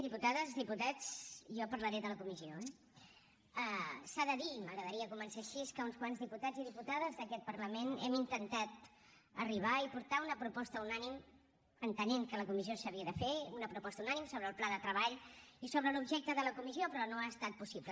diputades diputats jo parlaré de la comissió eh s’ha de dir i m’agradaria començar així que uns quants diputats i diputades d’aquest parlament hem intentat arribar i portar una proposta unànime entenent que la comissió s’havia de fer una proposta unànime sobre el pla de treball i sobre l’objecte de la comissió però no ha estat possible